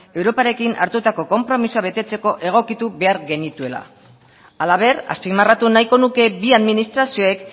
europarekin hartutako konpromisoa betetzeko egokitu behar genituela halaber azpimarratu nahiko nuke bi administrazioek